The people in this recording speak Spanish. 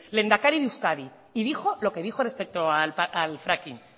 lehendakari de euskadi y dijo lo que dijo respecto al fracking